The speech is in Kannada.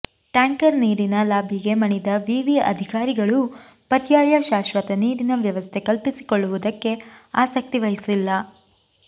ಟ್ಯಾಂಕರ್ ನೀರಿನ ಲಾಭಿಗೆ ಮಣಿದ ವಿವಿ ಅಧಿಕಾರಿಗಳು ಪರ್ಯಾಯ ಶಾಶ್ವತ ನೀರಿನ ವ್ಯವಸ್ಥೆ ಕಲ್ಪಿಸಿಕೊಳ್ಳುವುದಕ್ಕೆ ಆಸಕ್ತಿವಹಿಸಿಲ್ಲಾ